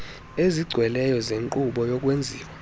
ezigcweleyo zenkqubo yokwenziwa